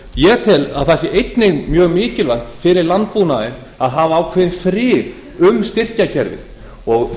ég tel að það sé einnig mjög mikilvægt fyrir landbúnaðinn að hafa ákveðin þrif um styrkjakerfið og